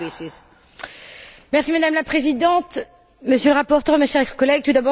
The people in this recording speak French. Madame la Présidente, Monsieur le rapporteur, mes chers collègues, tout d'abord je tiens à remercier M.